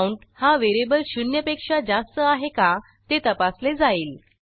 count हा variable शून्यपेक्षा जास्त आहे का ते तपासले जाईल